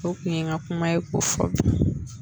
O kun ye n ka kuma ye ko fɔ